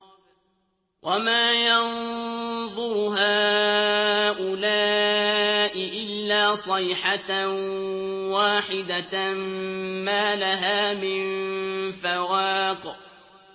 وَمَا يَنظُرُ هَٰؤُلَاءِ إِلَّا صَيْحَةً وَاحِدَةً مَّا لَهَا مِن فَوَاقٍ